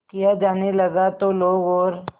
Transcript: किया जाने लगा तो लोग और